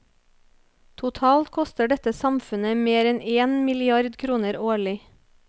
Totalt koster dette samfunnet mer enn en milliard kroner årlig.